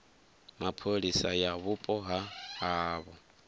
mapholisa ya vhupo ha havho